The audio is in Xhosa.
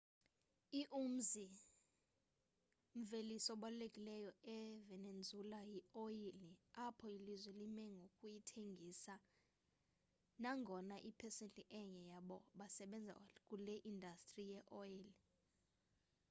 i umzi-mveliso obalulekileyo e-venezuela yi oyile apho ilizwe limengokuyithengisa nangonga iyipsesenti enye yabo basebenza kule indastri ye oyile